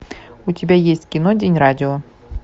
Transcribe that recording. у тебя есть кино день радио